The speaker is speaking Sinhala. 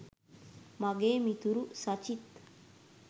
මගේ මිතුරු සචිත්